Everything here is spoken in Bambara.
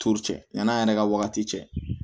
cɛ yann'an yɛrɛ ka wagati cɛ